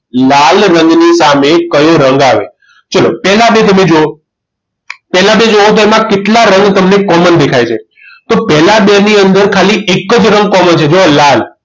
લાલ રંગની સામે કયો રંગ આવે ચલો પહેલા બે તમે જુઓ પહેલા બે જુઓ તો એમાં કેટલા રંગ તમને common દેખાય છે તો પહેલા બે ની અંદર તો ખાલી એક જ રંગ common છે જુવો લાલ